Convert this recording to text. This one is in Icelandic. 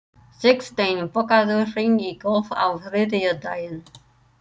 Sigsteinn, bókaðu hring í golf á þriðjudaginn.